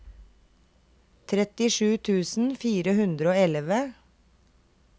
trettisju tusen fire hundre og elleve